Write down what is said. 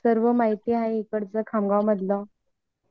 आणि कसा सर्व माहिती आहे इकडछ खामगाव मधल